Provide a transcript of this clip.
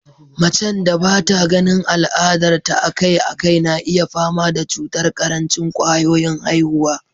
Macen da bata ganin al'adar ta a kai a kai na iya fama da cutar karancin kwayoyin haihuwa